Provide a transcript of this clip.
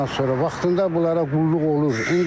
Ondan sonra vaxtında bunlara qulluq olur.